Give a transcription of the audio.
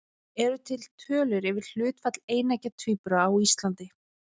Eru til tölur yfir hlutfall eineggja tvíbura á Íslandi?